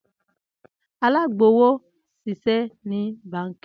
Alagbowo nṣiṣẹ ni banki.